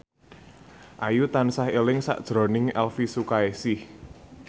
Ayu tansah eling sakjroning Elvi Sukaesih